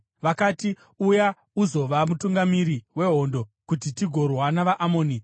Vakati, “Uya uzova mutungamiri wehondo, kuti tigorwa navaAmoni.”